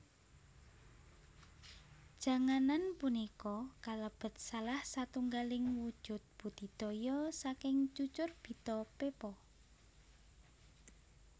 Janganan punika kalebet salah satunggaling wujud budidaya saking Cucurbita pepo